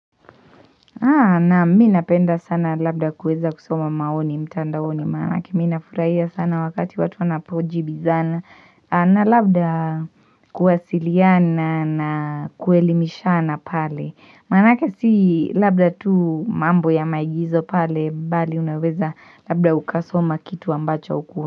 Nami napenda sana labda kuweza kusoma maoni mtandaoni maana yake mi nafurahia sana wakati watu wanapojibizana. A na labda aa kuwasiliana na kuelimishana pale. Maana yake si labda tu mambo ya maigizo pale bali unaweza labda ukasoma kitu ambacho hauku.